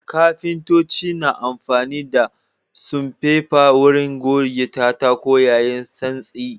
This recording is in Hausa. Kafintoci na amfani da sanfefe wurin gode katako yayi santsi.